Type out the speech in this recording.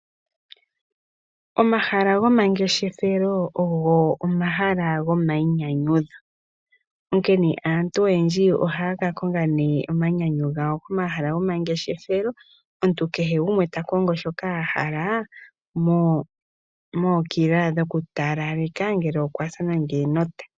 Omahala goma ngeshefelo ogo omahala gomayi nyanyudho onkene aantu oyendji ohaya ka konga omanyanyu gawo komahala gomangeshefelo omuntu kehe gumwe ta kongo shoka a hala mokila dhoku talaleka ngele okwasa nande enota.